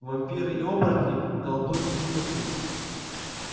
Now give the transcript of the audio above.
вампиры и оборотни колдуньи ведьмаки